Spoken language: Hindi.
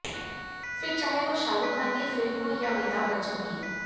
फिर चाहे वो शाहरुख खान की फिल्म हो या अमिताभ बच्चन की